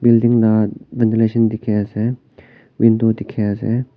building la ventilation dikhi ase window dikhi ase.